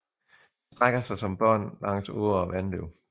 De strækker sig som bånd langs åer og vandløb